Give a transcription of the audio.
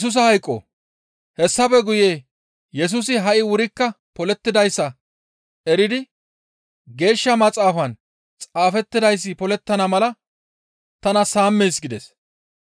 Hessafe guye Yesusi ha7i wurikka polettidayssa eridi Geeshsha Maxaafan xaafettidayssi polettana mala, «Tana saamees» gides.